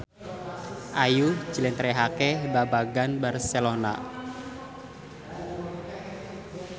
Ayu njlentrehake babagan Barcelona